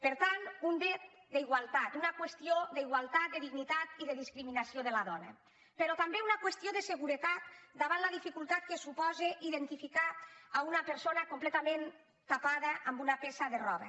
per tant un dret d’igualtat una qüestió d’igualtat de dignitat i de discriminació de la dona però també una qüestió de seguretat davant la dificultat que suposa identificar una persona completament tapada amb una peça de roba